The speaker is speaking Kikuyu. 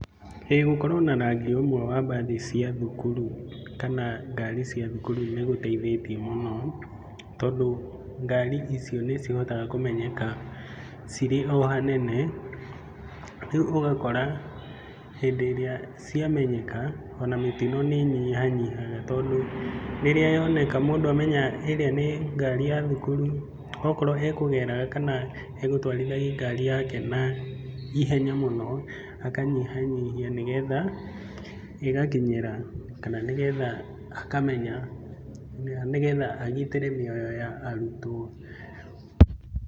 Ĩĩ gũkorwo na rangi ũmwe wa mbathi cia thukuru kana ngari cia thukuru nĩgũteithĩtie mũno, tondũ ngari icio nĩcihotaga kũmenyeka cirĩ o hanene, rĩu ũgakora hĩndĩ ĩrĩa ciamenyeka ona mĩtio nĩĩnyihanyihaga tondũ rĩrĩa yoneka, mũndũ amenya ĩrĩa nĩ ngari ya thukuru, okorwo ekũgeraga kana egũtwarithagia ngari yake naihenya mũno, akanyihanyihia nĩegtha ĩgakinyĩra kana nĩgetha akamenya nĩgetha agitĩre mĩoyo ya arutwo.